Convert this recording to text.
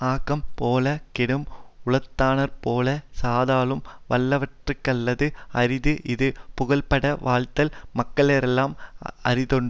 ஆக்கம்போலக் கேடும் உளதானாற்போலச் சாதலும் வல்லவற்கல்லது அரிது இது புகழ்பட வாழ்தல் மக்களெல்லார்க்கும் அரிதென்றது